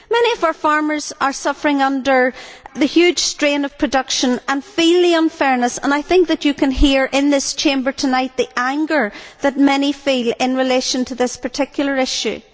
Many of our farmers are suffering under the huge strain of production and feel the unfairness, and I think that you can hear in this Chamber tonight the anger that many feel in relation to this particular issue.